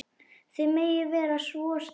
Þið megið vera svo stolt.